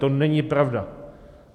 To není pravda!